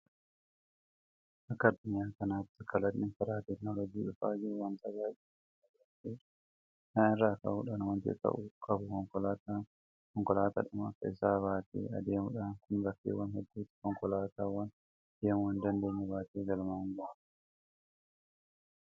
Akka addunyaa kanaatti kalaqni karaa teekinooloojii dhufa jiru waanta baay'ee nama ajaa'ibsiisudha. Kana irraa ka'uudhaan waanti ka'uu qabu konkolaataa konkolaataadhuma akka isaatii baatee adeemudha. Kun bakkeewwan hedduutti konkolaataawwan deemuu hindandeenye baatee galmaan gaha.